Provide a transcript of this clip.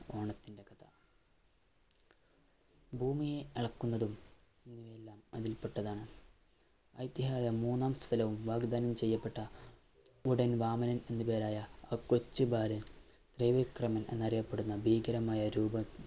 ഭൂമിയെ അളക്കുന്നതും എല്ലാം അതിൽപെട്ടതാണ്. ഐതിഹ്യം മൂന്നാം സ്ഥലവും വാഗ്ദാനം ചെയ്യപ്പെട്ട ഉടൻ വാമനൻ എന്ന് പേരായ ആ കൊച്ചു ബാലൻ ത്രിവിക്രമൻ എന്നറിയപ്പെടുന്ന ഭീകരമായ രൂപം